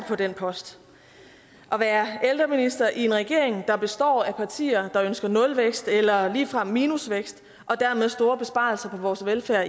på den post at være ældreminister i en regering der består af partier der ønsker nulvækst eller ligefrem minusvækst og dermed store besparelser på vores velfærd